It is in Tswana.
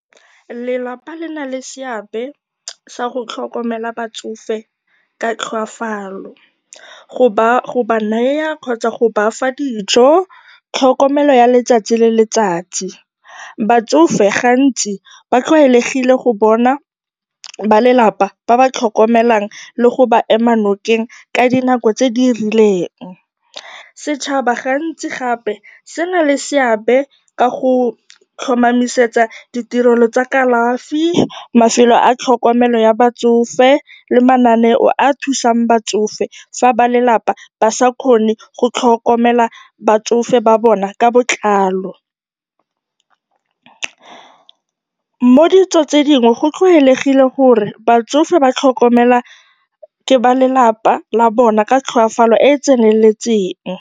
Lelapa le na le seabe sa go tlhokomela batsofe ka tlhokafalo, go ba naya kgotsa go ba fa dijo, tlhokomelo ya letsatsi le letsatsi. Batsofe gantsi ba tlwaelegile go bona balelapa ba ba tlhokomela le go ba ema nokeng ka dinako tse di rileng. Setšhaba gantsi gape se na le seabe ka go tlhomamisetsa ditirelo tsa kalafi, mafelo a tlhokomelo ya batsofe le mananeo a a thusang batsofe fa balelapa ba sa kgone go tlhokomela batsofe ba bona ka botlalo. Mo ditsong tse dingwe go tlwaelegile gore batsofe ba tlhokomelwa ke balelapa la bona ka tlhokafalo e e tseneletseng.